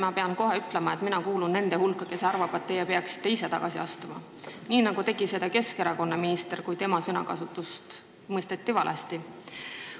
Ma pean kohe ütlema, et ma kuulun nende hulka, kes arvab, et te peaksite ise tagasi astuma, nii nagu tegi seda Keskerakonna minister, kui tema sõnakasutust mõisteti valesti.